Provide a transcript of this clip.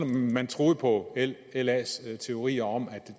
man troede på las teorier om at